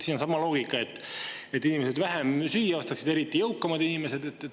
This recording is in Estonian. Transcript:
Siin on sama loogika, et inimesed vähem süüa ostaksid, eriti jõukamad inimesed.